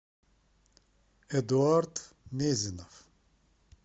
эдуард мезинов